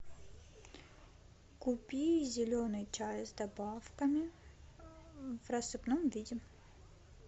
купи зеленый чай с добавками в рассыпном виде